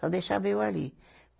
Só deixava eu ali.